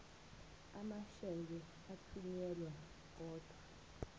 amasheke athunyelwa odwa